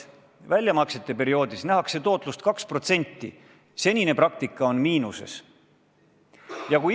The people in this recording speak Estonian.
Väljamaksete perioodil nähakse tootlust 2%, senine praktika on näidanud miinust.